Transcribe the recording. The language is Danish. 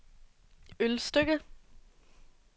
Ølstykke